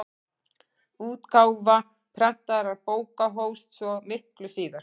Útgáfa prentaðra bóka hófst svo miklu síðar.